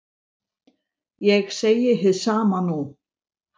Ég segi hið sama nú.